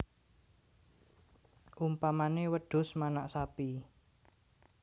Umpamané wedhus manak sapi